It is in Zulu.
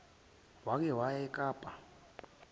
wake waya ekapa